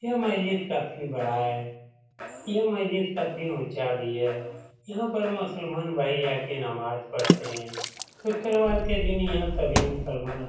यह मस्जिद काफी बड़ा है यह मस्जिद काफी ऊँचा भी है यहाँ पर मुसलमान भाई आकर नमाज पढ़ते हैं शुक्रवॉर के दिन यहाँ सभी मुसलमान --